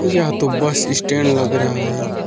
यह तो bus stand लग रहा है।